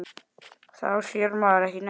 Þá sér maður ekki neitt.